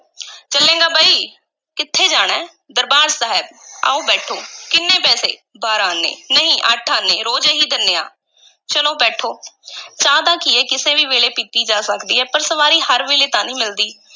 ਚੱਲੇਂਗਾ ਬਈ? ਕਿੱਥੇ ਜਾਣਾ ਹੈ? ਦਰਬਾਰ ਸਾਹਿਬ, ਆਓ ਬੈਠੋ, ਕਿੰਨੇ ਪੈਸੇ? ਬਾਰਾਂ ਆਨੇ, ਨਹੀਂ ਅੱਠ ਆਨੇ ਰੋਜ਼ ਇਹੀ ਦੇਂਦੇ ਆਂ ਚਲੋ ਬੈਠੋ ਚਾਹ ਦਾ ਕੀ ਐ, ਕਿਸੇ ਵੀ ਵੇਲੇ ਪੀਤੀ ਜਾ ਸਕਦੀ ਹੈ ਪਰ ਸਵਾਰੀ ਹਰ ਵੇਲੇ ਤਾਂ ਨੀ ਮਿਲਦੀ।